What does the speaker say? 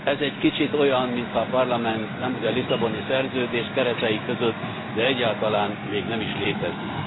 Ez egy kicsit olyan, mintha a Parlament, nemhogy a Lisszaboni Szerződés keretei között, de egyáltalán még nem is létezne.